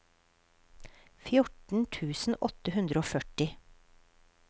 fjorten tusen åtte hundre og førti